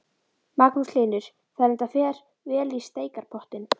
Magnús Hlynur: Þannig að þetta fer vel í steikarpottinn?